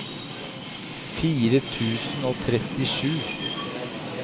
fire tusen og trettisju